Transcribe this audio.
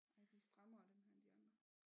Ja de er strammere dem her end de andre